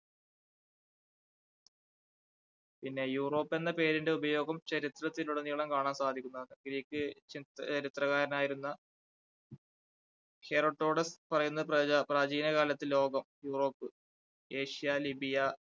പിന്നെ യൂറോപ്പ് എന്ന പേരിൻറെ ഉപയോഗം ചരിത്രത്തിൽ ഉടനീളം കാണാൻ സാധിക്കുന്നുണ്ട് Greek ച~ചരിത്രകാരനായിരുന്ന ഹെററ്റോഡസ് പറയുന്ന പ്രാച~പ്രാചീനകാലത്തെ ലോകം യൂറോപ്പ്, ഏഷ്യ, ലിബിയ